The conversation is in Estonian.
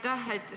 Aitäh!